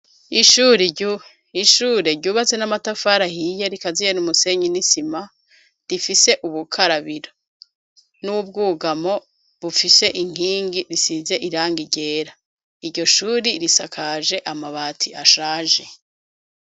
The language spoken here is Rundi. Ishure ryubatse n'amatafar'ahiye rikaziye n'umusenyi n'isima rifise ubukarabiro n'ibwugamo bufise inkingi isize irangi ryera , iryo shure risakaje amabati ashaje